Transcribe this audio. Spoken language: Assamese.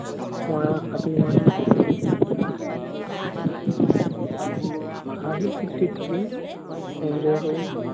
মৰা আশাটো ইমান হাঁহি-ফুৰ্তিত থাকিম, enjoy কৰিম।